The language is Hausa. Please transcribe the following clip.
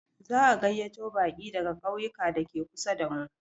Za a gayyato baƙi daga ƙauyuka dake kusa damu.